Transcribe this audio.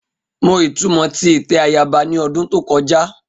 Mo itumọ ti itẹ ayaba ni ọdun to kọja